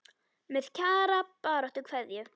Með Kjara baráttu kveðju.